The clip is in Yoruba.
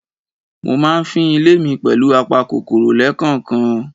Mo máa ń fín ilé mi pẹ̀lù apa kòkòrò lẹ́kànkan.